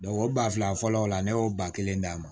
o ba fila fɔlɔ o la ne y'o ba kelen d'a ma